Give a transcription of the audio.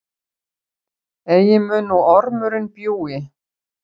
Eigi mun nú ormurinn bjúgi,